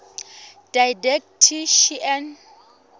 didactician